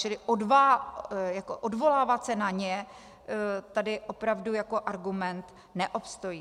Čili odvolávat se na ně tady opravdu jako argument neobstojí.